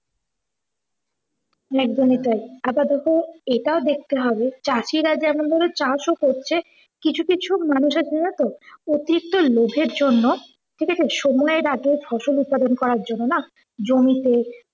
একদমই তাই। আপাতত এটাও দেখতে হবে চাষিরা যেমন ভাবে চাষ ও করছে কিছু কিছু মানুষের যেন তো অতিরিক্ত লোভের জন্য ঠিকাছে সময়ের আগে ফসল উদপাদন করার জন্য না জমিতে